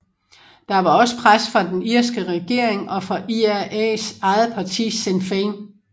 Der var også pres fra den irske regering og fra IRAs eget parti Sinn Féin